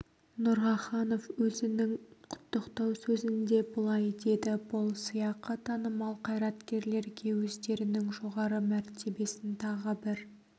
нұраханов өзінің құттықтау сөзінде былай деді бұл сыйақы танымал қайраткерлерге өздерінің жоғары мәртебесін тағы бір